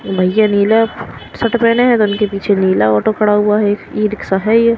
भईया नीला शर्ट पेहने हैं तो उनके पीछे नीला ऑटो खड़ा हुआ है ई रिक्शा है ये।